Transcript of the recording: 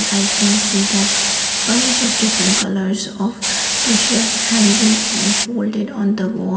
i can see that bunch of different colours of t-shirts hanging and folded on the wall.